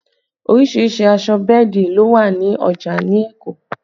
Oríṣiríṣìí aṣọ bẹ́ẹ̀dì ló wà ní ọjà ní Èkó